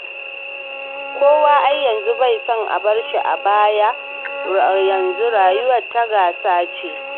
Kowa ai yanzu bai son a barshi a baya, yanzu rayuwar ta gasa ce.